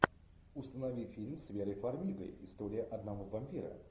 установи фильм с верой фармигой история одного вампира